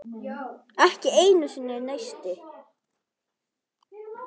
Ekki einu sinni neisti.